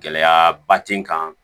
Gɛlɛyaba ti n kan